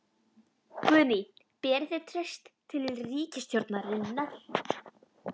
Guðný: Berið þið traust til ríkisstjórnarinnar?